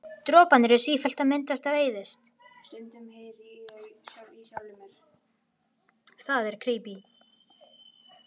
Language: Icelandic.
Droparnir eru sífellt að myndast og eyðast.